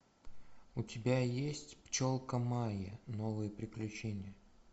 у тебя есть пчелка майя новые приключения